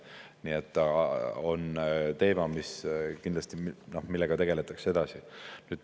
Nii et see on teema, millega kindlasti tegeletakse edasi.